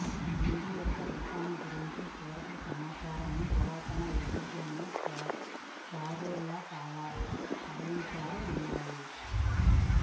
దిండు యొక్క రూపాన్ని గురించి పూర్వపు సమాచారాన్ని పురాతన ఈజిప్షియన్ ఫారోల పాలించారు ఉన్నాయి